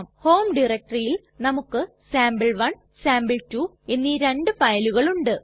home ഡയറക്ടറിയിൽ നമുക്ക് sample 1 sample 2 എന്നീ രണ്ടു ഫയലുകൾ ഉണ്ട്